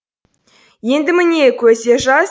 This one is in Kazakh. енді міне көзде жас